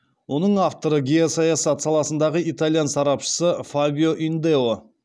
оның авторы геосаясат саласындағы итальян сарапшысы фабио индео